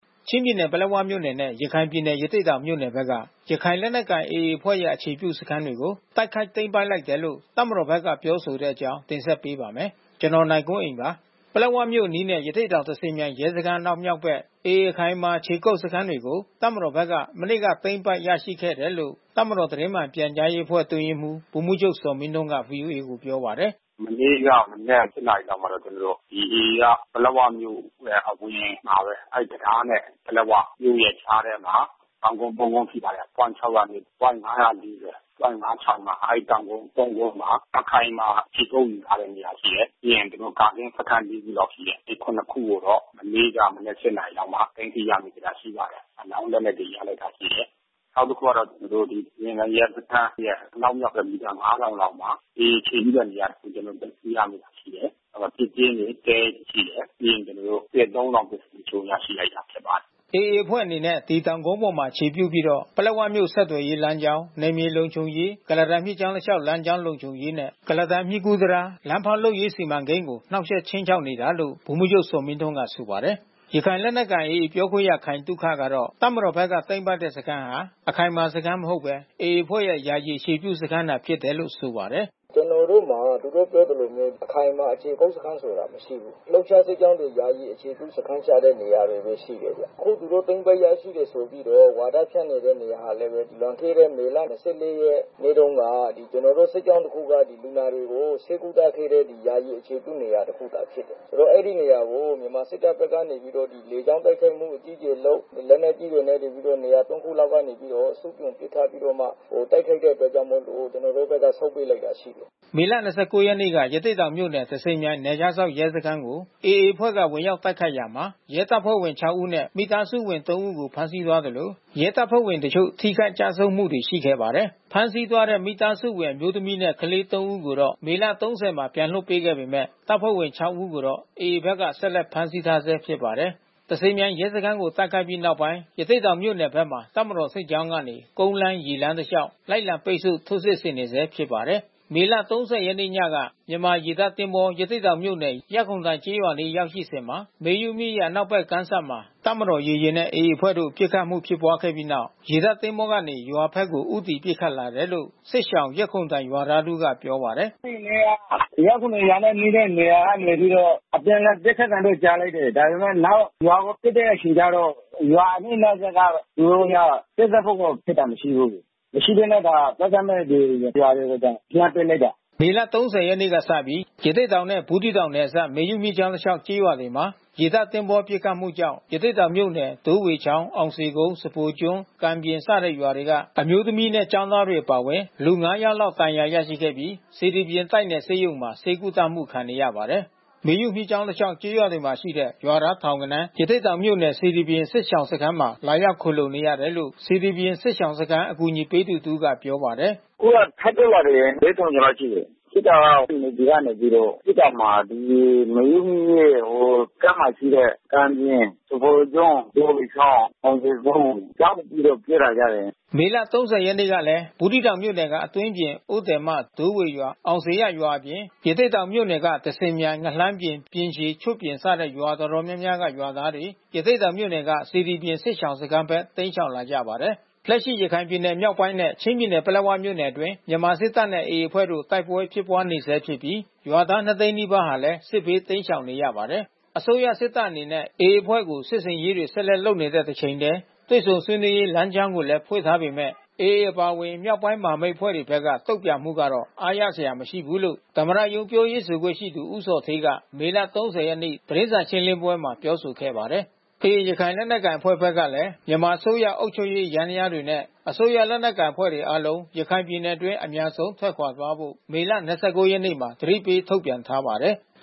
ချင်းပြည်နယ် ပလက်ဝမြို့နယ်နဲ့ ရခိုင်ပြည်နယ် ရသေ့တောင်မြို့နယ်က ရခိုင်လက်နက်ကိုင် AA အဖွဲ့ရဲ့ အခြေပြုစခန်းတွေကို တိုက်ခိုက်သိမ်းပိုက်လိုက်တယ်လို့ တပ်မတော်ဘက်က ပြောဆိုတဲ့အကြောင်းကို ဗွီအိုအေ မြန်မာပိုင်းသတင်းထောက် ကိုနိုင်ကွန်းအိန်က တင်ဆက်ပေးပါမယ်။ ပလက်ဝမြို့အနီးနဲ့ ရသေ့တောင် သဇင်မြိုင် ရဲစခန်းအနောက်မြောက်ဘက် AA အခိုင်အမာခြေကုပ်စခန်းတွေကို တပ်မတော်ဘက်ကနေ မနေ့က သိမ်းပိုက်ရရှိခဲ့တယ်လို့ တပ်မတော်သတင်းမှန်ပြန်ကြားရေးအတွင်းရေးမှူး ဗိုလ်မှူးချုပ်ဇော်မင်းထွန်းက ဗွီအိုအေကိုပြောပါတယ်။ “မနေ့ကမနက် ၈ နာရီလောက်မှာ ကျနော်တို့ ဒီ AA က ပလက်ဝမြို့ရဲ့အဝင်မှာပဲ အဲဒီတံတားနဲ့ ပလက်ဝမြို့ကြားထဲမှာ တောင်ကုန်း သုံး ကုန်း ရှိပါတယ်။ ပွိုင့် ၆၀၂၊ ပွိုင့် ၅၄၀၊ ပွိုင့်-၅၆၅ အဲဒီတောင်ကုန်း သုံး ကုန်းမှာ အခိုင်မာခြေကုတ်ယူထားတဲ့နေရာ ရှိတယ်။ ပြီးရင်သူတို့ကာကင်းစခန်း လေး ခုလောက်ရှိတယ်။ အဲဒီ ခုနစ်ခုကိုတော့ မနေ့က မနက် ၈ နာရီလောက်မှာ သိမ်းဆီးရမိတာ ရှိပါတယ်။ အလောင်းလက်နက်တွေ ရလိုက်တာ ရှိတယ်။ နောက်တခုကတော့ ကျနော်တို့ သဇင်မြိုင်ရဲစခန်းရဲ့အနောက်မြောက်ဘက် မီတာ ၅,၀၀၀ လောက်မှာ AA အခြေပြုတဲ့နေရာတခု ကျနော်တို့ သိမ်းဆည်းရမိတာရှိတယ်။ ပစ်ကျင်းတွေ တဲတွေရှိတယ်။ ပြီးရင်ကျနော်တို့ စစ်အသုံးအဆောင်ပစ္စည်းအချို့ ရရှိလိုက်တာရှိပါတယ်။” AA အဖွဲ့အနေနဲ့ ဒီတောင်ကုန်းအပေါ်မှာ အခြေပြုပြီးတော့ ပလက်ဝမြို့ဆက်သွယ်ရေးလမ်းကြောင်း နယ်မြေလုံခြုံရေး၊ ကုလားတန်မြစ်ကြောင်းတလျှောက် လမ်းကြောင်းလုံခြုံရေးနဲ့ ကုလားတန်မြစ်ကူးတံတား၊ လမ်းဖောက်လုပ်ရေးစီမံကိန်းကို နှောင့်ယှက်ခြိမ်းခြောက်နေတာလို့ ဗိုလ်မှူးချုပ်ဇော်မင်းထွန်းက ဆိုပါတယ်။ ရခိုင်လက်နက်ကိုင် AA ပြောခွင့်ရခိုင်သုခကတော့ တပ်မတော်ဘက်က သိမ်းပိုက်တဲ့ စခန်းဟ အခိုင်မာစခန်း မဟုတ်ဘဲ AA အဖွဲ့ရဲ့ ယာယီအခြေပြုစခန်းသာဖြစ်တယ်လို့ ဆိုပါတယ်။ “ကျနော်တို့မှာ သူတိုကပြောသလိုမျိုး အခိုင်အမာခြေကုတ်စခန်းဆိုတာ မရှိဘူး။ လှုပ်ရှားစစ်ကြောင်းတွေ ယာယီအခြေပြုစခန်းချတဲ့နေရာတွေပဲ ရှိတယ်။ အခုသူတို့ သိမ်းပိုက်ရရှိတယ်ဆိုပြီးတော့ ဝါဒဖြန့်နေတဲ့နေရာဟာလည်းပဲ လွန်ခဲ့တဲ့မေလ ၂၄ ရက်နေ့တုန်းက ကျနော်တို့ စစ်ကြောင်းတခုက လူနာတွေကို ဆေးကုသခဲ့တဲ့ ယာယီအခြေပြုနေရာ တခုတာဖြစ်တယ်။ ဆိုတော့အဲဒီ နေရာကို မြန်မာစစ်တပ်ဘက်ကနေပြီးတော့ လေကြောင်းတိုက်ခိုက်မှုအကြီးကျယ်လုပ်၊ လက်နက်ကြီးတွေနဲ့နေပြီးတော့ နေရာ ၃ ခု လောက်က နေပြီးတော့ စစ်ဆင်ပစ်ခတ်ပြီးတော့မှ တိုက်ခိုက်တဲ့အတွက်ကြောင့်မို့လို့ ကျနော်တို့ဘက်က ဆုတ်ပေးလိုက်တာ ရှိတယ်။” မေလ ၂၉ ရက်နေ့က ရသေ့တောင်မြို့နယ် သဇင်မြိုင်နယ်ခြားစောင့်ရဲစခန်းကို AA အဖွဲ့က ဝင်ရောက်တိုက်ခိုက်ခဲ့ရာမှာ ရဲတပ်ဖွဲ့ဝင် ၆ ဦးနဲ့ မိသားစုဝင် ၃ ဦးကို ဖမ်းဆီးသွားသလို ရဲတပ်ဖွဲ့တချို့ ထိခိုက်ကျဆုံးမှုတွေရှိခဲ့ပါတယ်။ ဖမ်းဆီးသွားတဲ့မိသားစုဝင်အမျိုးသမီးနဲ့ ကလေး ၃ ဦးကိုတော့ မေလ ၃၀ မှာ ပြန်လွှတ်ပေးခဲ့ပေမဲ့ တပ်ဖွဲ့ဝင် ၆ ဦးကိုတော့ AA ဘက်က ဖမ်းဆီးထားဆဲဖြစ်ပါတယ်။ သဇင်မြိုင် ရဲစခန်း တိုက်ခိုက်ခံရပြီးနောက်ပိုင်း ရသေ့တောင်မြို့နယ်ဘက်မှာ တပ်မတော်စစ်ကြောင်းကနေ ကုန်းလမ်း၊ ရေလမ်း တလျှောက် လိုက်လံ ပိတ်ဆို့ထိုးစစ်နေဆဲဖြစ်ပါတယ်။ မေ ၃၀ ရက်နေ့ညကတော့ မြန်မာရေတပ်သင်္ဘော ရသေ့တောင်မြို့နယ်၊ ရပ်ခုံတိုင်ကျေးရွာအနီး ရောက်ရှိစဉ်မှာ မေယုမြစ်ရဲ့ အနောက်ဘက်ကမ်းစပ်မှာ တပ်မတော်ရေယာဉ်နဲ့AAအဖွဲ့တို့ပစ်ခတ်မှုဖြစ်ပွါးပြီးနောက်၊ ရေတပ်သင်္ဘောကနေ ရွာဘက်ကို ဦးတည် ပစ်ခတ်လာတယ်လို့ စစ်ရှောင်ရက်ခုံတိုင်ရွာသား တဦးကပြောပါတယ်။ “အဲဒီနေ့က ရက်ခုံတိုင်နဲ့ နီးတဲ့နေရာကနေပြီးတော့ အပြန်လှန်ပစ်ခတ်သံတော့ ကြားလိုက်တယ်။ ဒါပေမဲ့နောက် ရွာကိုပစ်တဲ့ အချိန်ကျတော့ ရွာအနီးနားစပ်က သူတို့က ပစ်ခတ်ဖို့ကို ဖြစ်တာမရှိဘူး။ မရှိဘဲနဲ့ ဒါ သက်သက်မဲ့ ရွာတွေကို လှမ်းပစ်လိုက်တာ။” မေလ ၃၀ ရက်နေ့ကစပြီး ရသေ့တောင်နဲ့ ဘူးသီးတောင်နယ်အစပ် မေယုမြစ်ကြောင်းတလျောက် ကျေးရွာတွေမှာ ရေတပ်သင်္ဘောနဲ့ပစ်ခတ်မှုကြောင့် ရသေ့တောင်မြို့နယ် ဒိုးဝေချောင်း၊ အောင်ဇေကုန်း၊ စဖိုကျွန်း၊ ကံပြင် စတဲ့ရွာတွေက အမျိုးသမီးနဲ့ ကျောင်းသားတွေအပါဝင်လူ ၅ ယောက်လောက် ဒဏ်ရာရရှိခဲ့ပြီး စေတီပြင်တိုက်နယ်ဆေးရုံမှာ ဆေးကုသမှုခံနေရပါတယ်။ မေယုမြစ်ကြောင်းတလျှောက် ကျေးရွာတွေမှာရှိတဲ့ ရွာသားထောင်ဂဏန်း ရသေ့တောင်မြို့နယ်စေတီပြင် စစ်ရှောင်စခန်းမှာ လာရောက် ခိုလှုံနေတယ်လို့ စေတီပြင်စစ်ရှောင်စခန်းအကူညီပေးသူ တဦးကပြောပါတယ်။ “အခုကထပ်တိုးလာတယ်။ ၄,၀၀၀ ကျော်လောက်တော့ရှိပြီး။ ဖြစ်တာက NAVY ကနေပြီးတော့ ပစ်တာမှာ ဒီမေယုမြစ်ရဲ့ ကမ်းမှာရှိတဲ့ ကံပြင်၊ စဖိုကျွန်း၊ ဒိုးဝေချောင်း၊ မောင်ဇေကုန်း ကြောက်ပြီးတော့ပြေးလာကြတယ်။” မေလ ၃၀ ရက်နေ့ကလည်း ဘူးသီးတောင်မြို့နယ်က အတွင်းပြင်၊ အိုးသည်မ၊ ဒိုးဝေရွာ၊ အောင်ဇေယျရွာအပြင် ရသေ့တောင်မြို့နယ်က သဇင်မြိုင်၊ ငလှမ်းပြင်၊ ပြင်ရှည်၊ ချွတ်ပြင် စတဲ့ ရွာတော်တော်များများက ရွာသားတွေ ရသေ့တောင်မြို့နယ်က စေတီပြင်၊ စစ်ရှောင်စခန်းဘက် တိမ်းရှောင်လာကြပါတယ်။ လက်ရှိ ရခိုင်ပြည်နယ်မြောက်ပိုင်းနဲ့ ချင်းပြည်နယ် ပလက်ဝမြို့နယ်အတွင်း မြန်မာစစ်တပ်နဲ့ AA အဖွဲ့တို့ တိုက်ပွဲဖြစ်ပွါးနေဆဲဖြစ်ပြီး ရွာသား ၂၀၀,၀၀၀ နီးပါးဟာလည်း စစ်ဘေးတိမ်းရှောင်နေရပါတယ်။ အစိုးရစစ်တပ်အနေနဲ့ AA အဖွဲ့ကို စစ်ဆင်ရေးတွေ ဆက်လက်လုပ်နေတဲ့ တချိန်တည်း တွေ့ဆုံဆွေးနွေးရေး လမ်းကြောင်းကိုလည်း ဖွင့်ထားပေမဲ့ AA အပါအဝင် မြောက်ပိုင်းမဟာမိတ်အဖွဲ့တွေဘက်က တုံ့ပြန်မှုကတော့ အားရစရာမရှိဘူးလို့ သမ္မတရုံး ပြောရေး ဆိုခွင့်ရှိသူ ဦးဇော်ဌေးက မေလ ၃၀ ရက်နေ့ သတင်းစာရှင်းလင်းပွဲမှာ ပြောဆိုခဲ့ပါတယ်။ AA ရခိုင်လက်နက်ကိုင်အဖွဲ့ဘက်ကလည်း မြန်မာအစိုးရအုပ်ချုပ်ရေးယန္တရားများနဲ့ အစိုးရလက်နက်ကိုင်အဖွဲ့တွေအားလုံး ရခိုင်ပြည်အတွင်း အမြန်ဆုံးထွက်ခွါာသွားဖို့မေလ ၂၉ ရက်နေ့မှာ သတိပေးထုတ်ပြန်ထားပါတယ်။